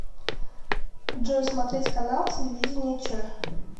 джой смотреть канал телевидения че